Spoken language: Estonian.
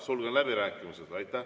Sulgen läbirääkimised.